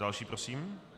Další prosím.